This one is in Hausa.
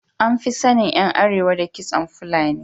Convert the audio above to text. An fi sanin ’yan Arewa da kitson fulani.